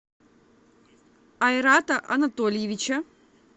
айрата анатольевича